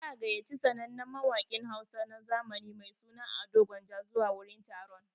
Za'a gayyaci sannannen mawaƙin Hausa na zamani mai suna Ado gwanja zuwa wurin taron.